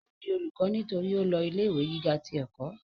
ó di olùkọ́ nítorí ó lọ ilé ìwé gíga ti ẹ̀kọ́